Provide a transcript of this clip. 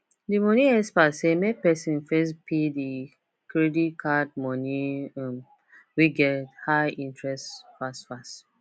the money experts say make person first pay the credit card money um wey get high interest fast fast